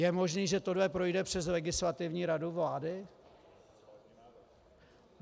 Je možné, že tohle projde přes Legislativní radu vlády?